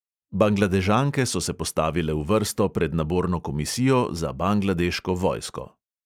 Bangladežanke so se postavile v vrsto pred naborno komisijo za bangladeško vojsko.